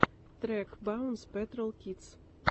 трек баунс пэтрол кидс